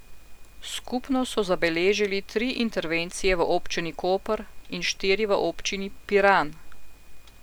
Skupno so zabeležili tri intervencije v občini Koper in štiri v občini Piran.